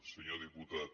senyor diputat